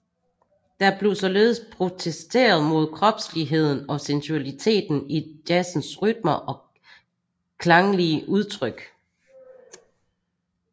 Der blev således protesteret mod kropsligheden og sensualiteten i jazzens rytmer og klanglige udtryk